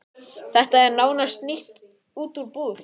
Þetta var nánast nýtt út úr búð.